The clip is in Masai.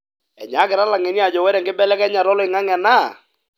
enyakita ilangeni ajo ore enkibelekenyata oloingange na,